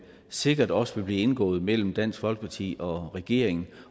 sikkert også vil blive indgået mellem dansk folkeparti og regeringen